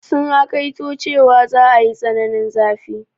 Sun hakaito cewa za a yi tsananin zafi.